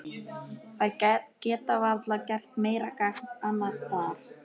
Þær geta varla gert meira gagn annars staðar.